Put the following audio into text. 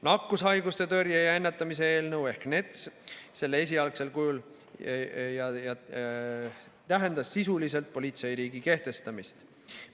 Nakkushaiguste tõrje ja ennetamise eelnõu selle esialgsel kujul tähendas sisuliselt politseiriigi kehtestamist.